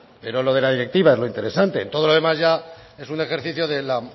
pero lo de la directiva es lo interesante en todo lo demás ya es un ejercicio de la